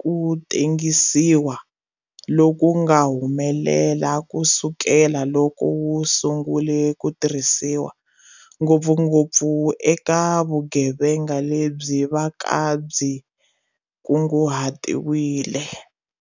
ku tengisiwa loku nga humelela ku sukela loko wu sungule ku tirhisiwa, ngopfungopfu eka vugevenga lebyi va ka byi kunguhatiwile.